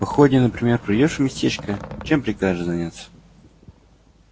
походе например придёшь в местечко чем прикажешь заняться